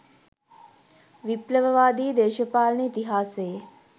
විප්ලවවාදී දේශපාලන ඉතිහාසයේ